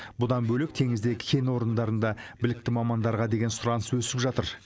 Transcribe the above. бұдан бөлек теңіздегі кен орындарында білікті мамандарға деген сұраныс өсіп жатыр